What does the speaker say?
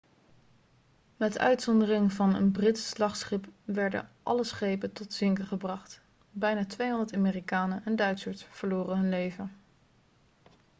met uitzondering van een brits slagschip werden alle schepen tot zinken gebracht bijna 200 amerikanen en duitsers verloren hun leven